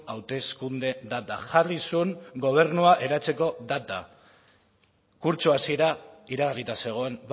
hauteskunde data jarri zuen gobernua eratzeko data kurtso hasiera iragarrita zegoen